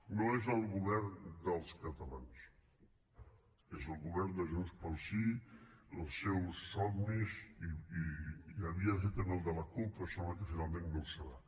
no és el govern dels catalans és el govern de junts pel sí dels seus somnis i havia de ser també el de la cup però sembla que finalment no ho serà